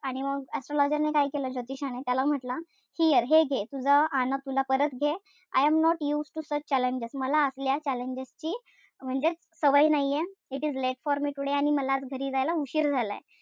आणि astrologer ने काय केलं ज्योतिषाने? त्याला म्हंटल. Here हे घे तुझा आणा तुला परत घे. I am not used to such challenges मला असल्या challenges ची म्हणजेच सवय नाहीये. It is late for me today आणि मला घरी जायला उशीर झालाय.